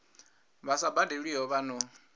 vha sa badelwiho vha no